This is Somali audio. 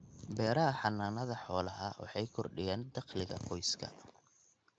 Beeraha Xannaanada Xoolaha waxay kordhiyaan dakhliga qoyska.